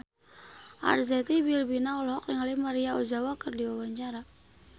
Arzetti Bilbina olohok ningali Maria Ozawa keur diwawancara